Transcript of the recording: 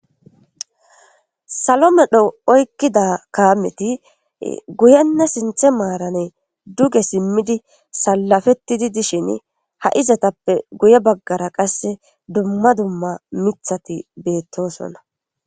Salomedho oykkida kaameti guyenna sinthe maarane duge simmidi salafetti di dishin ha izatappe guye baggara qasse dumma dumma mithati beettosonna